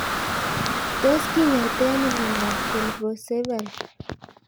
Tos kinyaitoi ano miondop Colpocephaly